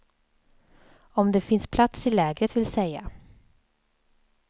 Om det finns plats i lägret, vill säga.